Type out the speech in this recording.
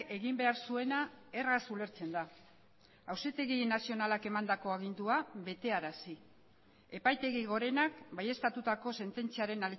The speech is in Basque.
egin behar zuena erraz ulertzen da auzitegi nazionalak emandako agindua betearazi epaitegi gorenak baieztatutako sententziaren